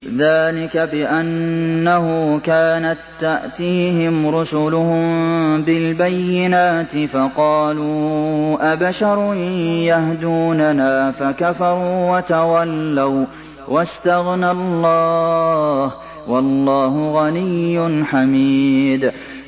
ذَٰلِكَ بِأَنَّهُ كَانَت تَّأْتِيهِمْ رُسُلُهُم بِالْبَيِّنَاتِ فَقَالُوا أَبَشَرٌ يَهْدُونَنَا فَكَفَرُوا وَتَوَلَّوا ۚ وَّاسْتَغْنَى اللَّهُ ۚ وَاللَّهُ غَنِيٌّ حَمِيدٌ